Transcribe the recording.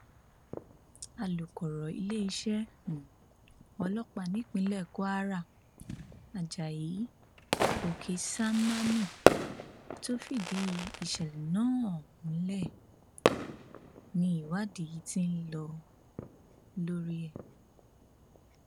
alūkọrọ iléeṣẹ um ọlọpàá nípínlẹ kwara ajayi oksanami tó fìdí ìṣẹlẹ náà um múlẹ ni ìwádì ti ń lọ lórí ẹ